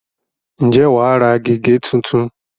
ǹjẹ́ wà á ra gègé tuntun?